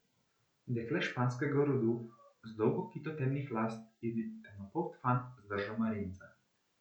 Dekle španskega rodu, z dolgo kito temnih las, in temnopolt fant z držo marinca.